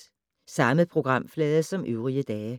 Samme programflade som øvrige dage